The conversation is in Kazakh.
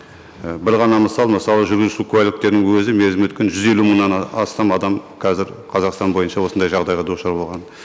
і бір ғана мысал мысалы жүргізуші куәліктерінің өзі мерзімі өткен жүз елу мыңнан астам адам қазір қазақстан бойынша осындай жағдайға душар болған